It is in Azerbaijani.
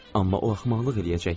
Amma o axmaqlıq eləyəcək.